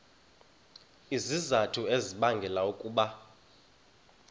izizathu ezibangela ukuba